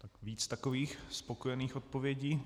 Tak víc takových spokojených odpovědí.